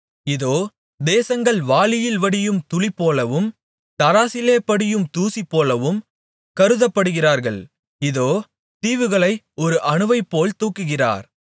இதோ தேசங்கள் வாளியில் வடியும் துளிபோலவும் தராசிலே படியும் தூசிபோலவும் கருதப்படுகிறார்கள் இதோ தீவுகளை ஒரு அணுவைப்போல் தூக்குகிறார்